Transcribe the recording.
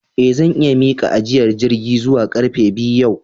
Eh zan iya Miki ajiyar jirgi zuwa karfe biyu yau